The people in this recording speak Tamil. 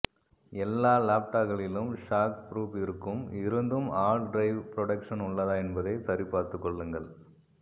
எல்லா லாப்டாப்களிலும் ஷாக் ப்ரூப் இருக்கும் இருந்தும் ஹார்டு டிரைவ் ப்ரொடெக்ஷன் உள்ளதா என்பதை சரி பார்த்து கொள்ளுங்கள்